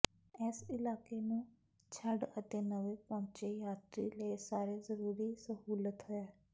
ਇਸ ਇਲਾਕੇ ਨੂੰ ਛੱਡ ਅਤੇ ਨਵੇ ਪਹੁੰਚੇ ਯਾਤਰੀ ਲਈ ਸਾਰੇ ਜ਼ਰੂਰੀ ਸਹੂਲਤ ਹੈ